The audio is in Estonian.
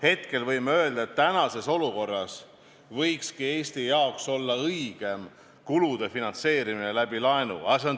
Hetkel võime öelda, et praeguses olukorras võikski Eestile olla õigem kulude finantseerimine pigem laenu abil, mitte reservide kogumise arvel.